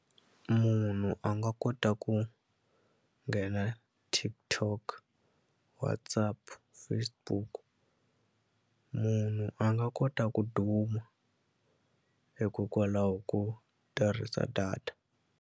Munhu a nga kota ku nghena TikTok WhatsApp Facebook munhu a nga kota ku duma hikokwalaho ko tirhisa data.